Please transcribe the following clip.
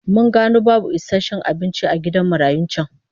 Mun gano babu isasshen abinci a gidan marayun can